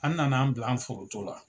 An nana an bila an foronto la.